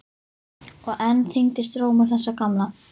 Og enn þyngdist rómur þess gamla.